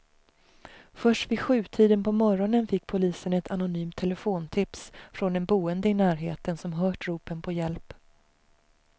Först vid sjutiden på morgonen fick polisen ett anonymt telefontips från en boende i närheten som hört ropen på hjälp.